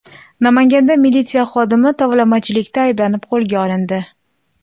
Namanganda militsiya xodimi tovlamachilikda ayblanib qo‘lga olindi.